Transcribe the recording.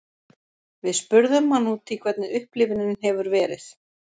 Við spurðum hann út í hvernig upplifunin hefur verið.